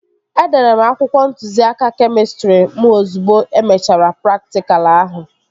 Edere m akwụkwọ ntụziaka kemịstrị mụ ozugbo e mechara praktikal ahụ